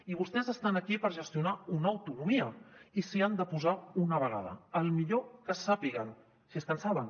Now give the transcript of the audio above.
i vostès estan aquí per gestionar una autonomia i si hi han de posar d’una vegada tan bé com sàpiguen si és que en saben